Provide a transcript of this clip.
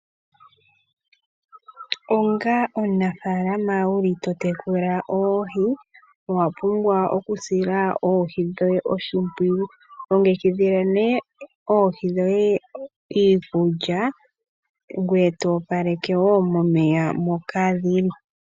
Onga omunafaalama wuli po to tekula oohi, owa pumbwa oku sila oohi dhoye oshimpwiyu. Longekidhila nee oohi dhoye iikulya ngoye to opaleke wo momeya moka dhili.